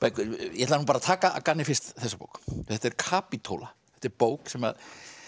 ég ætla að taka að gamni fyrst þessa bók þetta er Kapítóla þetta er bók sem